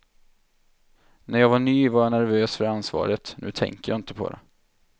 När jag var ny var jag nervös för ansvaret, nu tänker jag inte på det.